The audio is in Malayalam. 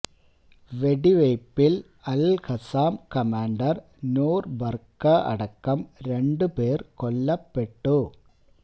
വെടിവെയ്പില് അല്ഖസ്സാം കമാണ്ടര് നൂര് ബറക അടക്കം രണ്ട് പേര് കൊല്ലപ്പെട്ടു